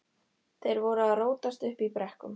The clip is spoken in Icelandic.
Þeir voru að rótast uppi í brekkum.